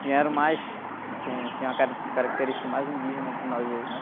Que era o mais, assim, tinha a carac característica mais indígena que nós hoje, né?